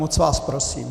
Moc vás prosím.